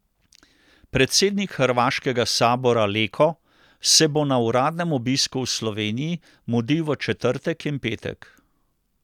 Predsednik hrvaškega sabora Leko se bo na uradnem obisku v Sloveniji mudil v četrtek in petek.